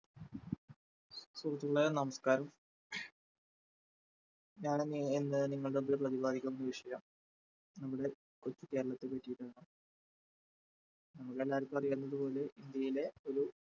സുഹൃത്തുക്കളെ നമസ്കാരം, ഞാനിന്ന് ഇന്ന് നിങ്ങളുടെ മുമ്പിൽ പ്രതിപാദിക്കുന്ന വിഷയം നമ്മുടെ കൊച്ചു കേരളത്തെ പറ്റിയിട്ടാണ് നമ്മൾ എല്ലാവർക്കും അറിയാവുന്നത് പോലെ ഇന്ത്യയിലെ ഒരു